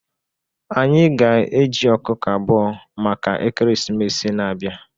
Anyị ga-eji ọkụkọ abụọ maka ekeresimesi na-abịa